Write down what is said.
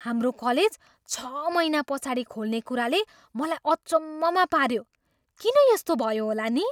हाम्रो कलेज छ महिना पछाडि खुल्ने कुराले मलाई अचम्ममा पाऱ्यो। किन यस्तो भयो होला नि?